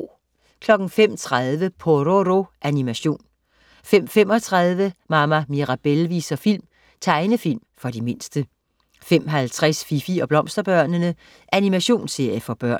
05.30 Pororo. Animation 05.35 Mama Mirabelle viser film. Tegnefilm for de mindste 05.50 Fifi og Blomsterbørnene. Animationsserie for børn